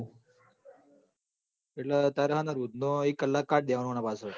એ ટ લ હાં રોજ અને પાચળ તારે એક કલાક કાઢ દેવા નો પાચળ